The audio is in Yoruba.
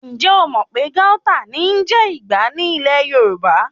Ǹjẹ̀ o mò pé Gauta ní ń jẹ́ Ìgbá ní ilẹ̀ Yorùbá?